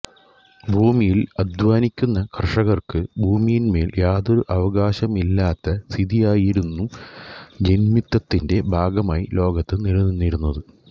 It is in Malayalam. ഭൂമിയിൽ അധ്വാനിക്കുന്ന കർഷകർക്ക് ഭൂമിയിന്മേൽ യാതൊരു അവകാശവുമില്ലാത്ത സ്ഥിതിയായിരുന്നു ജന്മിത്തത്തി്ന്റെ ഭാഗമായി ലോകത്ത് നിലനിന്നിരുന്നത്